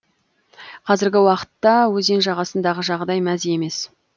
қазіргі уақытта өзен жағасындағы жағдай мәз емес